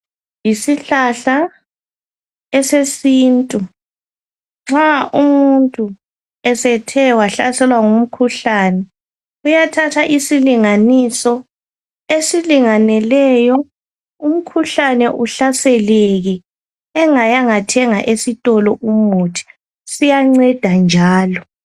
Yisihlahla esesintu. Nxa umuntu esethe wahlaselwa ngumkhuhlane uyathatha isilinganiso esilinganeleyo, umkhuhlane uhlaseleke engayanga thenga esitolo umuthi. Siyanceda njalo.